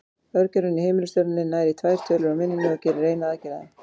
Örgjörvinn í heimilistölvunni nær í tvær tölur úr minninu og gerir eina aðgerð á þeim.